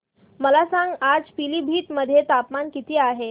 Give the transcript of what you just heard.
मला सांगा आज पिलीभीत मध्ये तापमान किती आहे